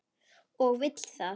Og vill það.